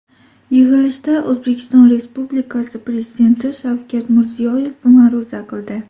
Yig‘ilishda O‘zbekiston Respublikasi Prezidenti Shavkat Mirziyoyev ma’ruza qildi.